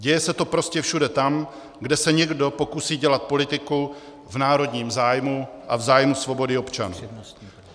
Děje se to prostě všude tam, kde se někdo pokusí dělat politiku v národním zájmu a v zájmu svobody občanů.